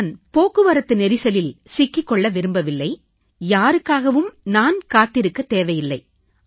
நான் போக்குவரத்து நெரிசலில் சிக்கிக் கொள்ள விரும்பவில்லை யாருக்காகவும் நான் காத்திருக்கத் தேவையில்லை